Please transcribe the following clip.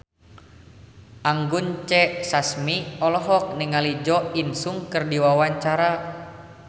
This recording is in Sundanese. Anggun C. Sasmi olohok ningali Jo In Sung keur diwawancara